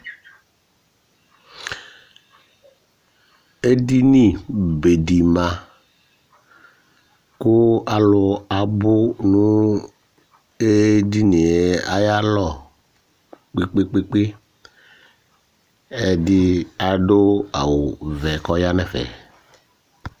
Edini be di ma kʋ alu abʋ nʋ edini ye ayʋ alɔ kpe kpe kpe kpe Ɛdí adu awu vɛ kʋ ɔya nʋ ɛfɛ